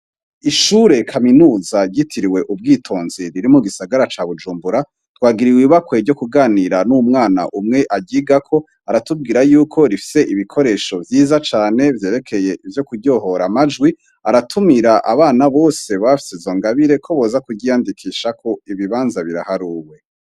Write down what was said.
Ishure kaminuza yitiriwe ubwitonzi riri mu gisagara ca bujumbura twagiriwe ibibakwe ryo kuganira n'umwana umwe agiga ko aratubwira yuko rifise ibikoresho vyiza cane vyerekeye ivyo kuryohora amajwi aratumira abana bose bafye zongabire ko boza kugyiyandikishako ibibanza biraharuwe.